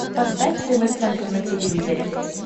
поставь тв центр на телевизоре